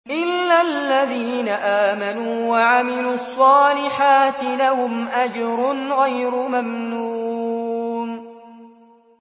إِلَّا الَّذِينَ آمَنُوا وَعَمِلُوا الصَّالِحَاتِ لَهُمْ أَجْرٌ غَيْرُ مَمْنُونٍ